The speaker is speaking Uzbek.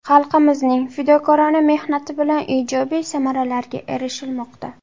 Xalqimizning fidokorona mehnati bilan ijobiy samaralarga erishilmoqda.